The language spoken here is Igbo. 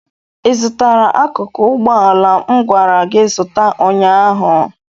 ị zụtara akụkụ ụgbọ ala m gwara gị zụta ụnyaahụ?